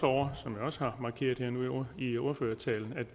over som jeg også har markeret nu her i ordførertalen